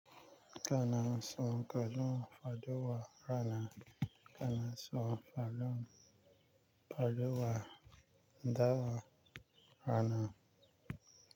Kana son kajin fadowa rana? Kana son fadowa dawa rana.